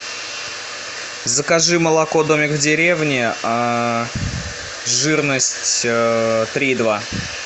закажи молоко домик в деревне жирность три и два